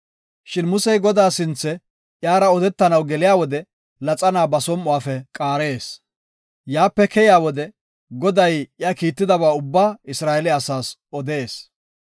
Shin Musey Godaa sinthe, iyara odetanaw geliya wode laxana ba som7uwafe qaarees. Yaape keyiya wode, Goday iya kiittidaba ubbaa Isra7eele asaas odees.